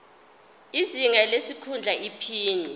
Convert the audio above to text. izinga lesikhundla iphini